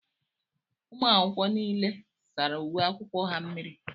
Ụmụ akwụkwọ nile sárá uwe akwụkwọ ha mmírí.